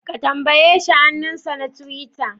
Ka tambaye shi hannunsa na tiwita?